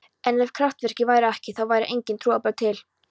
En ef kraftaverkin væru ekki, þá væru engin trúarbrögð til.